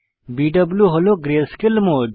বিউ হল grayscale mode